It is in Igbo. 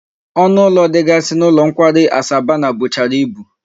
Onu ulo digasi n'ulo nkwari aku Asabana buchara ibu